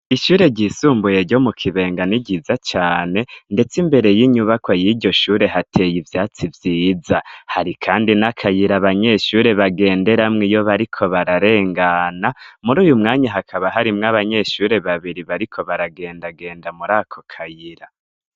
ishure ryisumbuye ryo mu kibenga ni giza cyane ndetse imbere y'inyubako y'iryoshure hateye ibyatsi byiza hari kandi n'akayira abanyeshure bagenderamw iyo bariko bararengana muri uyu mwanya hakaba harimw abanyeshure babiri bariko baragendagenda muri ako kayira